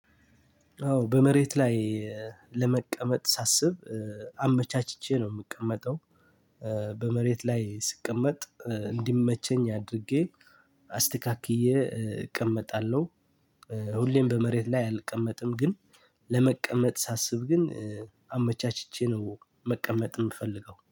አዎ በመሬት ላይ ለመቀመጥ ሳስብ አመቻችቼ ነው የምቀመጠው። በመሬት ላይ ስቀመጥ እንዲመቸኝ አድርጌ አስተካክዬ እቀመጣለሁ። ሁሌም በመሬት ላይ አልቀመጥም። ግን መቀመጥ ሳስብ ግን አመቻችቼ ነው መቀመጥ የምፈልገው።